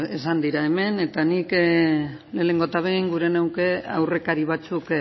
esan dira hemen eta nik lehenengo eta behin gure nuke aurrekari batzuk